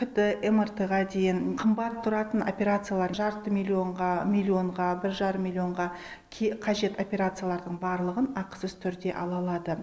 кт мрт ға дейін қымбат тұратын операциялар жарты миллионға миллионға бір жарым миллионға қажет операциялардың барлығын ақысыз түрде ала алады